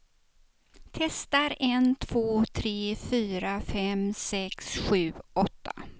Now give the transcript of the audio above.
Testar en två tre fyra fem sex sju åtta.